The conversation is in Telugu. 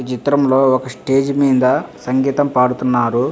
ఈ చిత్రం లో ఒక స్టేజి మింద సంగీతం పాడుతున్నారు.